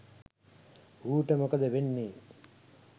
ඌට මොකද වෙන්නේ